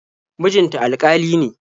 Mijin ta alƙali ne.